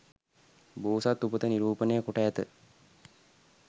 බෝසත් උපත නිරූපණය කොට ඇත.